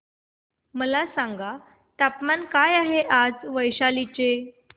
मला सांगा तापमान काय आहे वैशाली चे